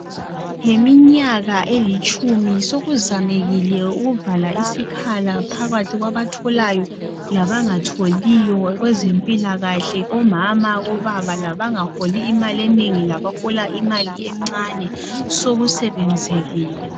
Ngeminyaka elitshumi sokuzamekile ukuvala isikhala phakwathi kwabatholayo labangatholiyo kwezempilakahle omama obaba labangaholi imali enengi labahola imali encane sokusebenzekile